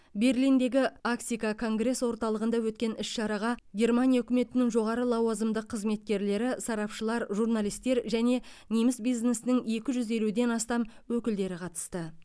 берлиндегі ахіса конгресс орталығында өткен іс шараға германия үкіметінің жоғары лауазымды қызметкерлері сарапшылар журналистер және неміс бизнесінің екі жүз елуден астам өкілі қатысты